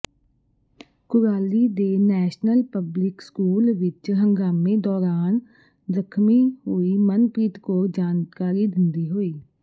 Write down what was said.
ਕੁਰਾਲੀ ਦੇ national public school ਵਿੱਚ ਹੰਗਾਮੇ ਦੌਰਾਨ ਜ਼ਖ਼ਮੀ ਹੋਈ ਮਨਪ੍ਰੀਤ ਕੌਰ ਜਾਣਕਾਰੀ ਦਿੰਦੀ ਹੋਈ